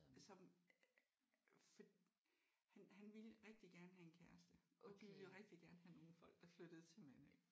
Som for han han ville rigtig gerne have en kæreste og de ville rigtig gerne have nogle folk der flyttede til Mandø